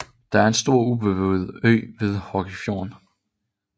Det er en stor ubeboet ø ved Horgefjorden